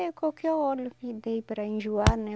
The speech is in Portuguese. É qualquer óleo que dê para enjoar, né?